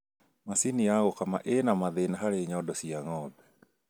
Macini ya gũkama ĩna mathĩna harĩ nyondo cia ng'ombe